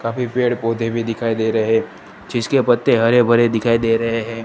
कभी पेड़ पौधे भी दिखाई दे रहे जिसके पत्ते हरे भरे दिखाई दे रहे हैं।